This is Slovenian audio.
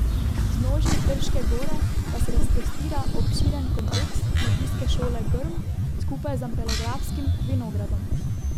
V vznožju Trške Gore pa se razprostira obširen kompleks Kmetijske šole Grm skupaj z ampelografskim vinogradom.